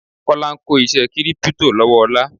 Kọ́lá ń kó iṣé kírípítò lọ́wọ́ Ọlá.